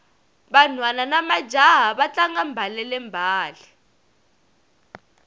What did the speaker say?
vanhwana namajaha va tlanga mbalele mbale